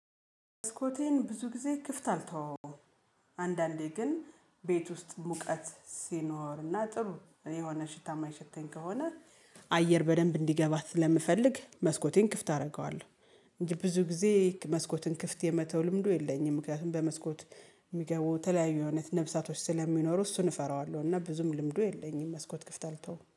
መስኮቴን ብዙ ጊዜ ክፍት አልተወውም። አንዳንዴ ግን ቤት ውስጥ ሙቀት ሲኖርና ጥሩ የሆነ ሽታ ማይሸተኝ ከሆነ አየር በደንብ እንዲገባ ስለምፈልግ መስኮቴን ክፍት አደርገዋለሁ። እንጂ ብዙ ጊዜ መስኮትን ክፍት የመተው ልምዱ የለኝም ምክንያቱም በመስኮት የሚገቡ የተለያዩ አይነት ነፍሳቶች ስለሚኖሩ እሱን እፈራዋለሁ። እና ብዙም ልምዱ የለኝም መስኮት ክፍት አልተውም